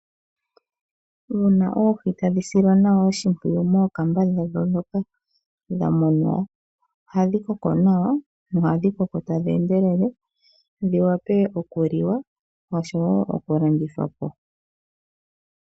Uuna oohi tadhi silwa nawa oshimpwiyuvmookamba dhawo ndhoka tadhi munwa ohadhi koko nawa nohadhi koko tadhi endelele dhiwape okuliwa oshowo okulandithwa po.